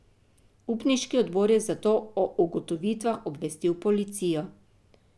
Upniški odbor je zato o ugotovitvah obvestil policijo.